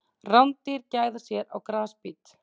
Rándýr gæða sér á grasbít.